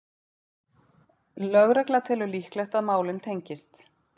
Lögregla telur líklegt að málin tengist